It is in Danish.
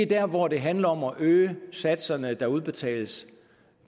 der hvor det handler om at øge satserne der udbetales